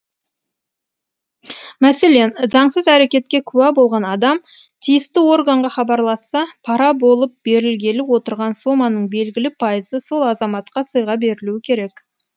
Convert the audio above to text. мәселен заңсыз әрекетке куә болған адам тиісті органға хабарласса пара болып берілгелі отырған соманың белгілі пайызы сол азаматқа сыйға берілуі керек